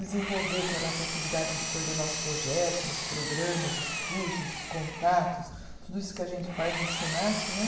Desenvolver, que eram as atividades de coordenar os projetos, os programas, os cursos, os contatos, tudo isso que a gente faz no Senac né.